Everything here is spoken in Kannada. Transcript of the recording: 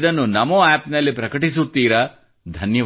ಇದನ್ನು NamoAppನಲ್ಲಿ ಪ್ರಕಟಿಸುತ್ತೀರಾ ಧನ್ಯವಾದ